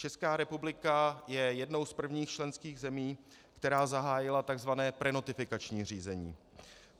Česká republika je jednou z prvních členských zemí, která zahájila tzv. prenotifikační řízení.